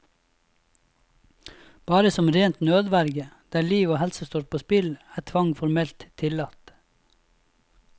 Bare som rent nødverge, der liv og helse står på spill, er tvang formelt tillatt.